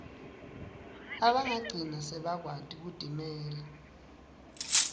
labagcina sebakwati kutimela